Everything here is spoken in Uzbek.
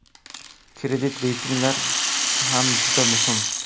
Kredit reytinglar ham juda muhim.